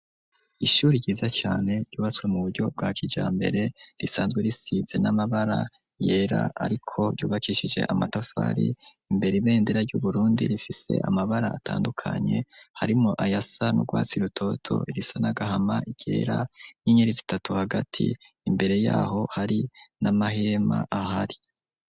Ishure ryiza cyane ryubatswe mu buryo bwa kija mbere risanzwe risitse n'amabara yera ariko yubakishije amatafari imbere ibendera ry'uburundi rifise amabara atandukanye harimo ayasa n'urwatsi irutoto irisa nagahama igera n'inyeritzi itatu hagati imbere yaho hari n'amahema ahari.